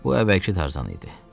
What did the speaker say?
Bu əvvəlki Tarzan idi.